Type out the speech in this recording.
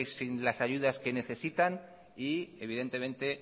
sin las ayudas que necesitan y evidentemente